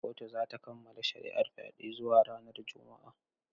Kotun za ta kammala shari’ar fyaɗen zuwa ranar Juma’a.